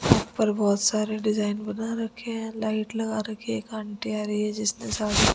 पर बहुत सारे डिजाइन बना रखे हैं लाइट लगा रखी है एक आंटी आ रही है जिसने साडी --